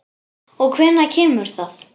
Og hvenær kemur það?